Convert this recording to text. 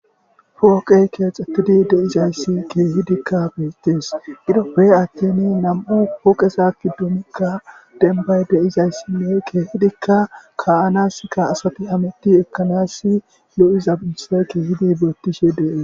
Fooqey keexatidi deizayssi keehidikka beyttes iroppey attin nam,u pooqesa kiddoomikka denbay deizayssinne keehidikka ka,anaskka asati hamiti ekkanassi lo,iza binse keehidi beottishe dee.